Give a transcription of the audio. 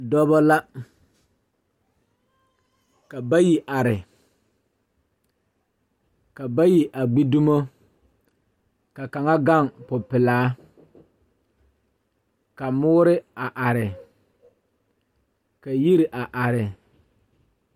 Dɔba la ka bayi are ka bayi a gbi dumo ka kaŋa gaŋ popelaa ka moore a are ka yiri a are.